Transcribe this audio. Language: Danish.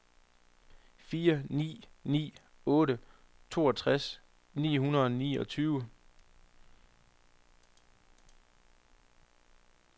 fire ni ni otte toogtres ni hundrede og niogtyve